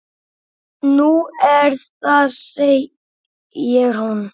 Nú, er það segir hún.